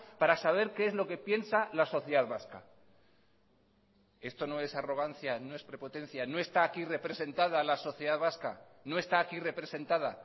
para saber qué es lo que piensa la sociedad vasca esto no es arrogancia no es prepotencia no está aquí representada la sociedad vasca no está aquí representada